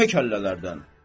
Yekə kəllələrdən."